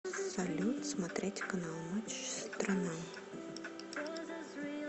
салют смотреть канал матч страна